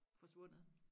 forsvundet